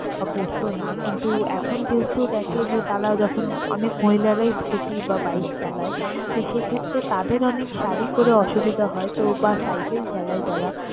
বা পরতো না কিন্তু এখন যেহেতু দেখে যে তারা যখন অনেক মহিলারাই scooty বা bike চালায় তো সেক্ষেত্রে তাদের অনেক শাড়ি পড়ে অসুবিধা হয় তো বা cycle চালায় যারা।